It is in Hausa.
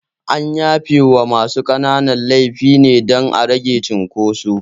An yafe wa masu ƙanana laifi ne dan a ragewa cinkoso